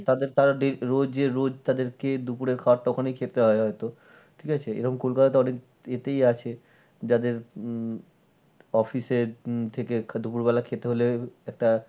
তাদের তারা রোজের রোজ তাদেরকে দুপুরের ভাত খেতে হয় হয় তো। ঠিক আছে এরম কলকাতাতে অনেক এতেই আছে যাদের উম office এর থেকে দুপুর বেলা খেতে হলে একটা